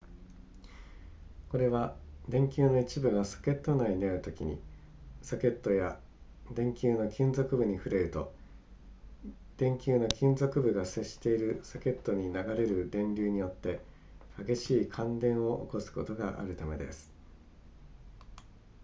これは電球の一部がソケット内にあるときにソケットや電球の金属部に触れると電球の金属部が接しているソケットに流れる電流によって激しい感電を起こすことがあるためです